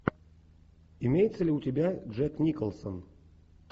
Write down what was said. имеется ли у тебя джек николсон